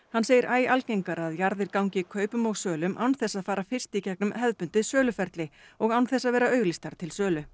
hann segir æ algengara að jarðir gangi kaupum og sölum án þess að fara fyrst í gegnum hefðbundið söluferli og án þess að vera auglýstar til sölu